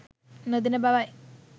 නොදෙන බවයි